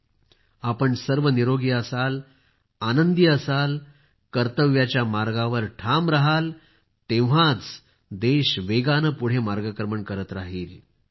तुम्ही सर्व निरोगी असाल आनंदी असाल कर्तव्याच्या मार्गावर ठाम राहाल तेव्हाच देश वेगाने पुढे मार्गक्रमण करत राहील